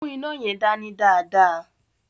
Mu ina yẹn dani dáadáa.